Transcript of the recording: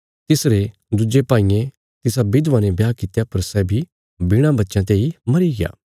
तिसरे दुज्जे भाईये तिसा विधवा ने ब्याह कित्या पर सै बी बिणा वच्चयां तेई मरीग्या